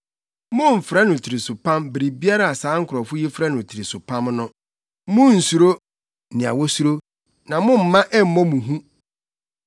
“Mommfrɛ no tirisopam biribiara a saa nkurɔfo yi frɛ no tirisopam no; Munnsuro nea wosuro, na momma ɛmmɔ mo hu.